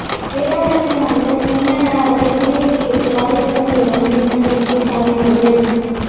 வேதாரண்யம் அடுத்த தென்னடாரில் குடிநீர் கேட்டு காலிக்குடங்களுடன் பெண்கள் திடீர் சாலை மறியல்